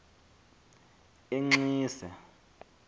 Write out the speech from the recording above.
enxise